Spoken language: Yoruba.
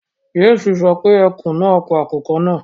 James sọ pé ekun náà pa àkùkọ náà